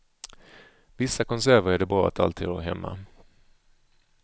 Vissa konserver är det bra att alltid ha hemma.